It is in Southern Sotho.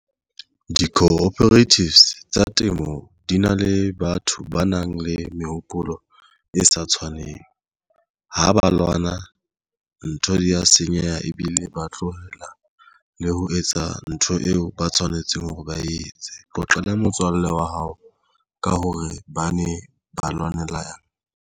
Di-cooperatives tsa temo di na le batho ba nang le mehopolo e sa tshwaneng ha ba lwana ntho di ya sa senyeha ebile ba tlohela le ho etsa ntho eo ba tshwanetseng hore ba etse. Qoqele motswalle wa hao ka hore ba ne ba lwanela.